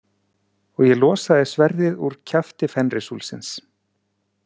Og ég losaði sverðið úr kjafti Fenrisúlfsins.